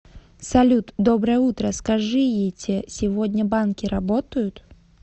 салют доброе утро скажиете сегодня банки работают